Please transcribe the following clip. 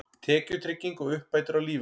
Tekjutrygging og uppbætur á lífeyri.